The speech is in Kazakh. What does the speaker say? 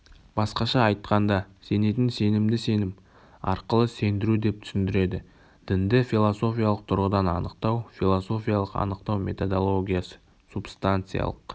басқаша айтқанда сенетін сенімді сенім арқылы сендірудеп түсіндіреді дінді философиялық тұрғыдан анықтау философиялық анықтау методологиясы субстанциалық